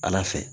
Ala fɛ